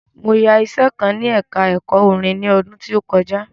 Mo yá iṣẹ kan ní ẹka ẹ̀kọ́ orin ni ọdún tí ó kọjá.